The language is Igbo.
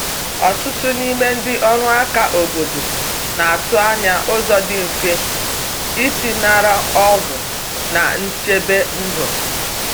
Ọtụtụ n’ime ndị ọrụ aka obodo na atụ anya ụzọ dị mfe isi nara ọgwụ na nchebe ndu.